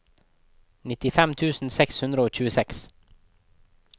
nittifem tusen seks hundre og tjueseks